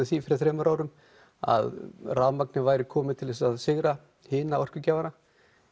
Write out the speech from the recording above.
því fyrir þremur árum að rafmagnið væri komið til þess að sigra hina orkugjafana